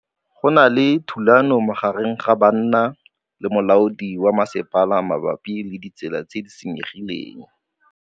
Go na le thulanô magareng ga banna le molaodi wa masepala mabapi le ditsela tse di senyegileng.